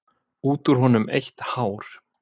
Út úr honum eitt hár.